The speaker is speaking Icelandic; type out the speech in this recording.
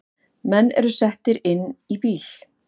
Menn eru settir inn í bíl